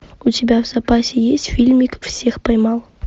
у тебя в запасе есть фильмик всех поймал